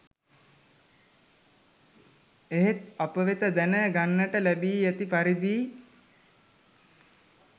එහෙත් අප වෙත දැන ගන්නට ලැබී ඇති පරිදි